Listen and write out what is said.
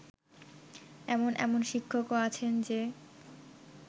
এমন এমন শিক্ষকও আছেন যে